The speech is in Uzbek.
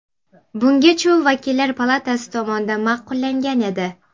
Bungacha u Vakillar palatasi tomonidan ma’qullangan edi.